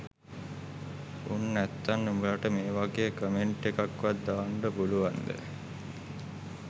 උන් නැත්තන් උඹලට මේ වගේ කොමෙන්ට් එකක් වත් දාන්ඩ පුලුවන්ද